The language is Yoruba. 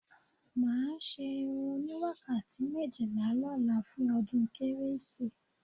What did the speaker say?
Má ṣe irun oníwàkàtí méjìlá lọ́la fún ọdún kérésì